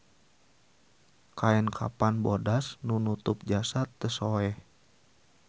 Kaen kapan bodas nu nutup jasad teu soeh